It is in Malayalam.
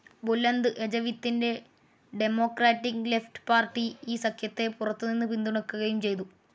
ബുലന്ത് എജവിത്തിന്റെ ഡെമോക്രാറ്റിക്‌ ലെഫ്റ്റ്‌ പാർട്ടി ഈ സഖ്യത്തെ പുറത്തുനിന്ന് പിന്തുണക്കുകയും ചെയ്തു.